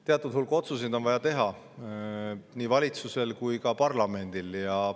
Teatud hulk otsuseid on vaja teha nii valitsusel kui ka parlamendil.